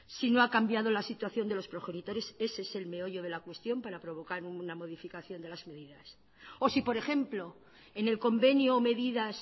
si no ha cambiado la situación de los progenitores ese es el meollo de la cuestión para provocar una modificación de las medidas o si por ejemplo en el convenio o medidas